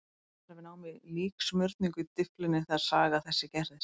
Hann var við nám í líksmurningu í Dyflinni þegar saga þessi gerðist.